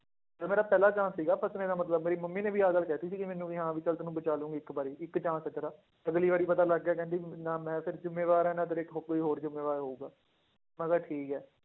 ਇਹ ਮੇਰਾ ਪਹਿਲਾ chance ਸੀਗਾ ਬਚਣੇ ਦਾ ਮਤਲਬ ਮੇਰੀ ਮੰਮੀ ਨੇ ਵੀ ਆਹ ਗੱਲ ਕਹਿ ਦਿੱਤੀ ਸੀਗੀ ਮੈਨੂੰ ਵੀ ਹਾਂ ਵੀ ਚੱਲ ਤੈਨੂੰ ਬਚਾ ਲਵਾਂਗੀ ਇੱਕ ਵਾਰੀ ਇੱਕ chance ਦਿੱਤਾ, ਅਗਲੀ ਵਾਰੀ ਪਤਾ ਲੱਗ ਗਿਆ ਕਹਿੰਦੀ ਨਾ ਮੈਂ ਫਿਰ ਜ਼ਿੰਮੇਵਾਰ ਹੈ ਨਾ ਤੇਰੇ ਹੋ~ ਕੋਈ ਹੋਰ ਜ਼ਿੰਮੇਵਾਰ ਹੋਊਗਾ, ਮੈਂ ਕਿਹਾ ਠੀਕ ਹੈ